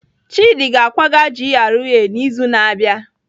Chidi ga-akwaga GRA n'izu na-abịa.